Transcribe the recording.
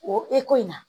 O ko in na